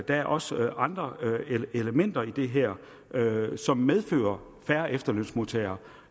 der er også andre elementer i det her som medfører færre efterlønsmodtagere